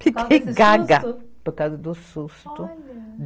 Fiquei gaga por causa do susto. Olha.